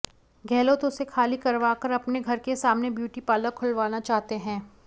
गहलोत उसे खाली करवा कर अपने घर के सामने ब्यूटी पार्लर खुलवाना चाहते है